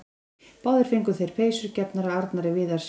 Báðir fengu þeir peysur gefnar af Arnari Viðarssyni.